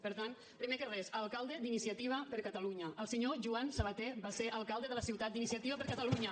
per tant primer de res alcalde d’iniciativa per catalunya el senyor joan sabaté va ser alcalde de la ciutat d’iniciativa per catalunya